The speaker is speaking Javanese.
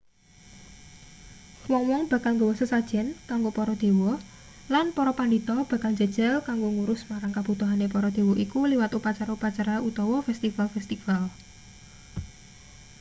wong-wong bakal nggawa sesajen kanggo para dewa lan para pandhita bakal njajal kanggo ngurus marang kebutuhane para dewa iku liwat upacara-upacara utawa festival-festival